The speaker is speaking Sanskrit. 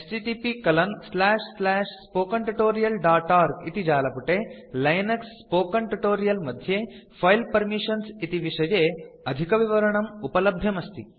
httpspoken tutorialorg इति जालपुटे लिनक्स स्पोकेन ट्यूटोरियल् मध्ये फिले पर्मिशन्स् इति विषये अधिकविवरणं उपलभ्यम् अस्ति